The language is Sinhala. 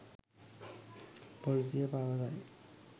පොලිසිය පවසයි